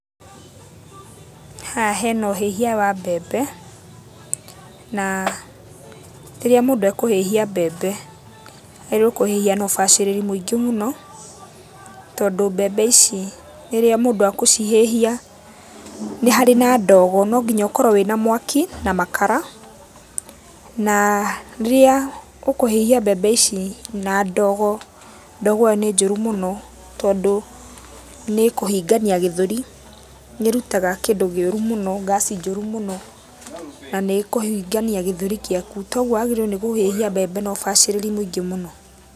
Haha hena ũhĩhia wa mbembe, na rĩrĩa mũndũ ekũhĩhia mbembe wagĩrĩirwo nĩkũhĩhia na ũbacĩrĩri mũingĩ mũno, tondũ mbembe ici rĩrĩa mũndũ agũcihĩhia nĩ harĩ na ndogo, no nginya ũkorwo wĩna mwaki na makara naa rĩrĩa ũkũhĩhia mbembe ici na ndogo, ndogo ĩyo nĩ njũru mũno tondũ nĩkũhingania gĩthũri. Nĩĩrutaga kĩndũ kĩũru mũno ngaci njũru mũno na nĩkũhingania gĩthũri gĩaku. Toguo wagĩrĩirwo nĩ kũhĩhia mbembe na ũbacĩrĩri mũingĩ mũno.